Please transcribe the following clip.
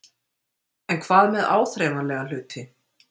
En hvað með áþreifanlega hluti?